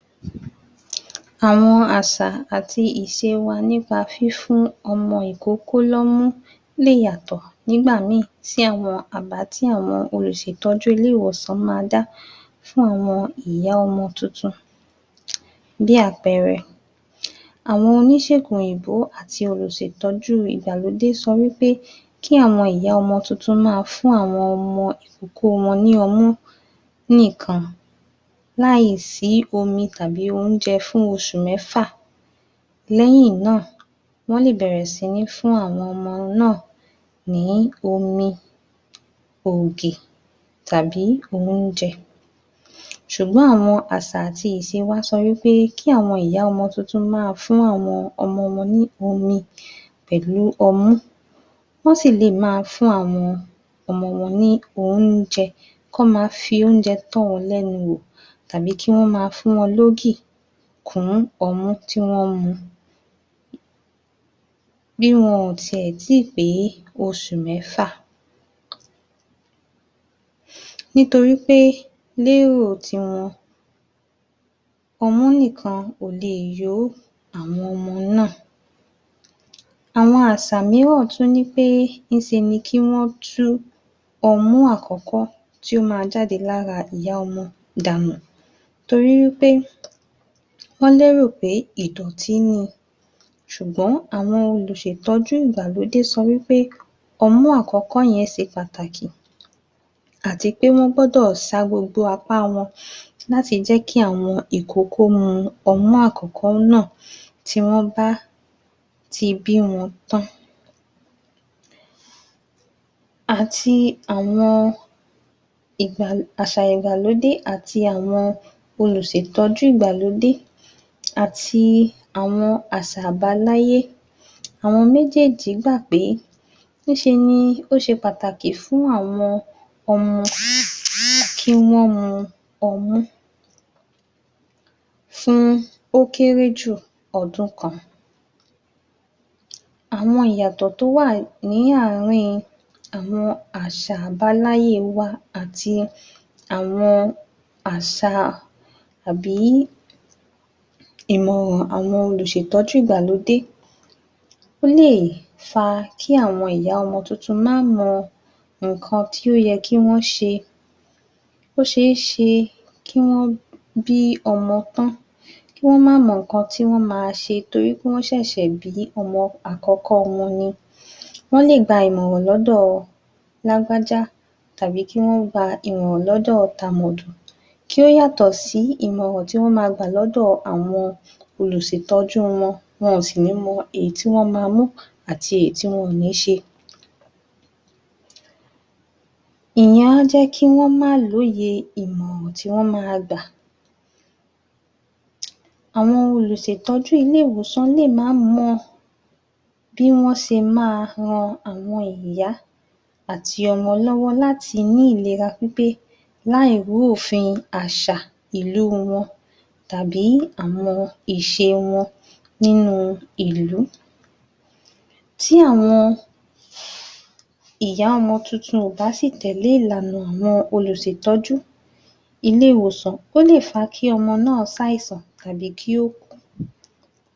Àwọn àṣà àti ìṣe wa nípa fífún ọmọ ìkókó lọ́mú lè yàtọ̀ nígbà mi sí àwọn àbá tí àwọn olùṣètọ́jú ilé ìwòsàn bá dá fún àwọn ìyá ọmọ tuntun. Bí àpẹẹrẹ, àwọn oníṣègùn òyìnbó àti olùṣètọ́jú ìgbàlódé sọ wí pé, kí àwọn ìyá ọmọ tuntun maa fún àwọn ọmọ ìkókó wọn ní ọmú nìkan láì sí omi tàbí óúnjẹ fún oṣù mẹ́fà, lẹ́yìn náà wọ́n lè bẹ̀rẹ̀ sí fún àwọn ọmọ náà ní omi ,ògì tàbí óúnjẹ. Ṣùgbọ́n awọn àṣà àti íṣe sọ wí pé kí awọn ìyá ọmọ tuntun maa fún àwọn ọmọ wọn ní omi pẹ̀lú ọmú, wọ́n sì lè fún àwọn ọmọ náà ní óúnjẹ ,kí wọn maa fi óúnjẹ tọ wọn lẹ́nu wò tàbí kí wọn maa fún wọn ní ògì kún ọmú tí wọ́n mu. bí wọn tí ẹ̀ tí pé oṣù mẹ́fà, ní to rí pé ní èrò wọn, ọmú nìkan kò lè yó àwọn ọmọ náà. Àwọn àṣà miíràn tún wí pé, ní ṣe ni kí wọn tú omú àkọ́kọ́ tí ó máá ń jáde láti ara ìyá ọmọ danù, to rí pé wọ́n lérò pé ìdọ̀tí ni ṣùgbọ́n àwọn olùṣètọ́jú ìgbàlódé sọ wí pé ọmú àkọ́kọ́ yẹn ṣe pàtàkì àti pé wọ́n gbọ́dọ̀ sa gbogbo apá wọn láti jẹ́ kí àwọn ìkókó mu ọmú àkọ́kọ́ náà tí wọ́n bá ti bí wọn tán. Àti àwọn àṣà ìgbàlódé àti àwọn olùṣètọ́jú ìgbàlódé àti àwọn àṣà àbáláyé, àwọn méjèèjì gbà pé ní ṣe ni ó ṣe pàtàkì láti fún àwọn ọmọ ní ọmú, ó kéré jù ọdún kan. Àwọn ìyàtọ̀ tó wà ní àárín àwọn àṣà ìbáláyé wa àti àwọn àṣà àbí ìmọ̀ràn àwọn olùṣètọ́jú ìgbàlódé. Ó lè fa kí àwọn ìyá ọmọ tuntun má mọ ǹǹkan tí ó yẹ kí wọn ṣe. Ó ṣeeṣe kí wọ́n bí ọmọ tán, kí wọ́n má mọ ǹǹkan tí wọn ma ṣe torí wọ́n ṣẹ̀ṣẹ̀ bí ọmọ àkọ́kọ́ wọn ni, wọ́n lè gba ìmọ̀ràn lọ́do lágbájá tàbí kí wọ́n gba ìmọ̀ràn lọ́dọ tàmẹ̀dò, kí ó yàtọ̀ sí ìmọ̀ràn tí wọ́n ma gbà lọ́wọ́ àwọn olùṣètọ́jú wọn, wọn ò sì ní mọ èyí tí wọ́n ma mu ati èyí tí wọ́n ma ṣe. Ìyẹn á jẹ́ kí wọn má ní òye ìmọ̀ràn tí wọ́n ma gba. àwọn olùṣètọ́jú ilé ìwòsàn lè má mọ bí wọ́n ṣe ma rán àwọn ìyá àti ọmọ lọ́wọ́ láti ní ìlera pípé láì ru òfin àṣà ìlera wọn tàbí àwọn ìṣe wọ́n nínu ìlú. Tí àwọn ìyá ọmọ tuntun ò bá sì tèlé ìlànà àwọn olùṣètọ́jú ilé ìwòsàn. Ó lè fa kí ọmọ náà ṣàìsàn tàbí kí ó kú.